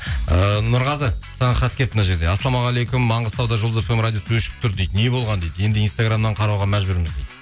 ыыы нұрғазы саған хат келіпті мына жерде ассалаумағалейкум маңғыстауда жұлдыз фм радиосы өшіп тұр дейді не болған дейді енді инстаграмнан қарауға мәжбүрміз дейді